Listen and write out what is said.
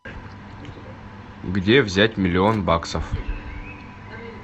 где взять миллион баксов